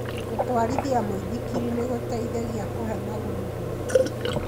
Gũtwarithia mũĩthikiri nĩgũteithagia kũhe magũrũ hinya.